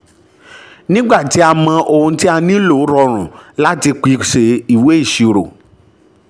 nígbà tí a mọ ohun tí a nílò rọrùn láti pèsè ìwé ìṣirò.